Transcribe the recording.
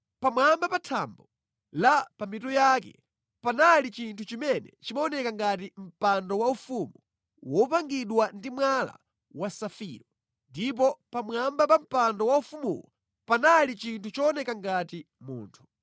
Pamwamba pa thambo la pa mitu yake panali chinthu chimene chimaoneka ngati mpando waufumu wopangidwa ndi mwala wa safiro, ndipo pamwamba pa mpando waufumuwo panali chinthu chooneka ngati munthu.